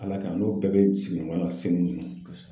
Ala ka ɲi, n n'o bɛɛ be sigi ɲɔgɔn na senu